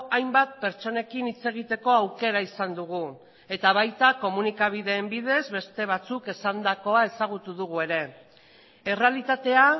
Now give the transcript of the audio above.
hainbat pertsonekin hitz egiteko aukera izan dugu eta baita komunikabideen bidez beste batzuk esandakoa ezagutu dugu ere errealitatea